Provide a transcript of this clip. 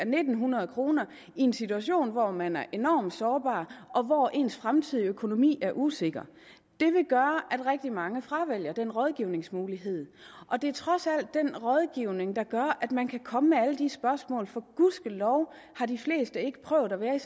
ni hundrede kroner i en situation hvor man er enormt sårbar og hvor ens fremtidige økonomi er usikker det vil gøre at rigtig mange fravælger den rådgivningsmulighed og det er trods alt den rådgivning der gør at man kan komme med alle de spørgsmål for gudskelov har de fleste ikke prøvet at være i